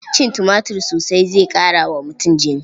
Cin tumatir sosai zai ƙara wa mutum jini.